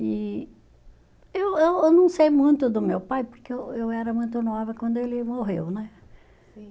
E eu eu eu não sei muito do meu pai, porque eu eu era muito nova quando ele morreu, né? Sim.